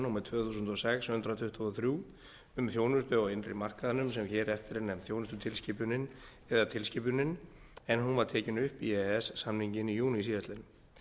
númer tvö þúsund og sex hundrað tuttugu og þrjú um þjónustu á innri markaðnum sem hér eftir er nefnd þjónustutilskipunin eða tilskipunin en hún var tekin upp í e e s samninginn í júní síðastliðinn